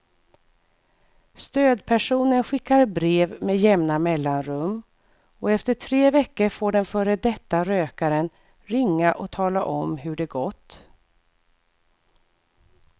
Stödpersonen skickar brev med jämna mellanrum och efter tre veckor får den före detta rökaren ringa och tala om hur det gått.